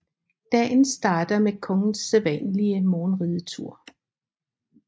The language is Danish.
Dagen starter med kongens sædvanlige morgenridetur